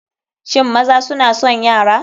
Shin maza suna son yara?